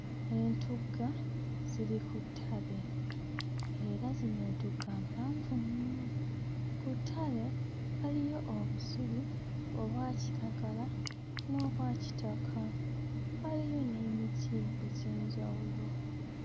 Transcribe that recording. Entugga ziri ku ttale era zino entugga mpanvu nnyo. Ku ttale waliyo obusubi obwa kiragala n'obwa kitaka; waliyo n'emiti egy'enjawulo.